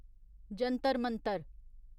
Jantar Mantar